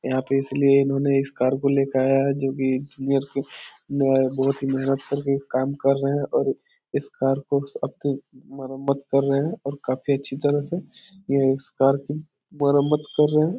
यहाँ पे इसलिए इन्होंने इस कार को ले के आया है जो की बहुत ही महेनत करके काम कर रहा है और इस कार को अब भी मरम्मत कर रहे हैं काफी अच्छी तरह से ये इस कार की मरमत्त कर रहे है।